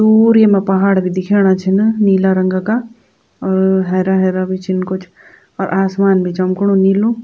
दूर येमा पहाड़ भी दिखेंणा छिन नीला रंगा का और हेरा हेरा भी छिन कुछ और आसमान भी चमकुणु नीलू।